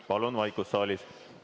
Palun vaikust saalis!